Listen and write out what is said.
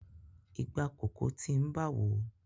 Ìgbà kòkó ti ń bawo.